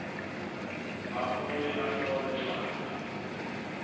abuye ahlole lwati